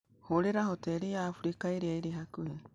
Hũũrĩra hoteri ya Abirika ĩrĩa ĩrĩ hakuhĩ